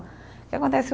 O que acontece